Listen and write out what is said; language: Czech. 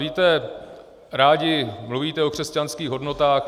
Víte, rádi mluvíte o křesťanských hodnotách.